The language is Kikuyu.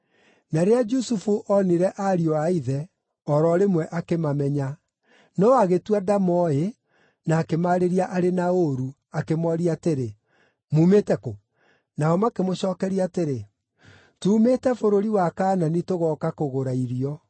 Na rĩrĩa Jusufu onire ariũ a ithe, o ro rĩmwe akĩmamenya, no agĩĩtua ndamooĩ na akĩmaarĩria arĩ na ũũru, akĩmooria atĩrĩ, “Mumĩte kũ?” Nao makĩmũcookeria atĩrĩ, “Tuumĩte bũrũri wa Kaanani tũgooka kũgũra irio.”